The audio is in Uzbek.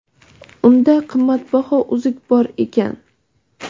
Unda qimmatbaho uzuk bor ekan.